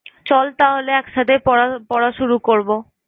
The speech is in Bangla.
চল তাহলে এক সাথেই পড়~ পড়া শুরু করব।